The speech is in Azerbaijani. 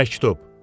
Məktub.